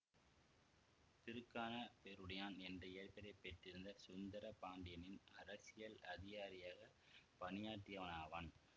திருக்கானப்பேருடையான் என்ற இயற்பெயரைப் பெற்றிருந்த சுந்தர பாண்டியனின் அரசியல் அதிகாரியாகப் பணியாற்றியவனாவான்